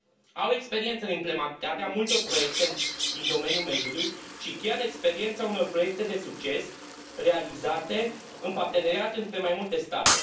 Au experiență în implementarea multor proiecte din domeniul mediului și chiar experiența unor proiecte de succes realizate în parteneriat între mai multe state.